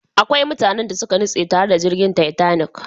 Akwai mutanen da suka nutse tare da jirgin Titanic.